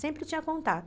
Sempre tinha contato.